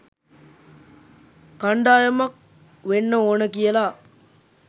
කණ්ඩායමක් වෙන්න ඕන කියලා.